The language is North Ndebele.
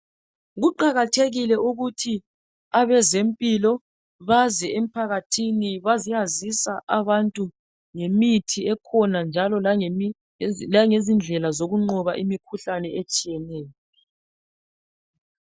kuqakathekile ukuthi abezempilo baze emphakathini baye yazisa abantu ngemithi ekhona njalo langezindlela zokunqoba imikhuhlane etshiyeneyo